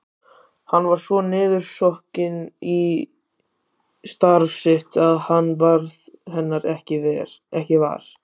Hann var svo niðursokkinn í starf sitt að hann varð hennar ekki var.